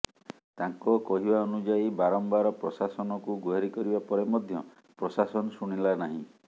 ତାଙ୍କ କହିବା ଅନୁଯାୟୀ ବାରମ୍ବାର ପ୍ରଶାସନକୁ ଗୁହାରି କରିବା ପରେ ମଧ୍ୟ ପ୍ରଶାସନ ଶୁଣିଲା ନାହିଁ